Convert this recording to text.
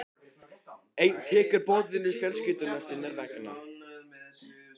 Einn tekur boðinu fjölskyldu sinnar vegna.